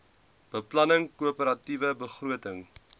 beplanning koöperatiewe begroting